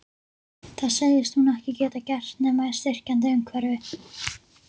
Það segist hún ekki geta gert nema í styrkjandi umhverfi.